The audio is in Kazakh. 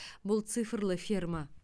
бұл цифрлы ферма